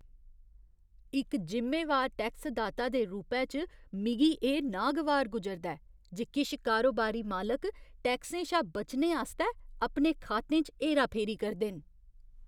इक जिम्मेवार टैक्सदाता दे रूपै च, मिगी एह् नागवार गुजरदा ऐ जे किश कारोबारी मालक टैक्सें शा बचने आस्तै अपने खातें च हेरा फेरी करदे न।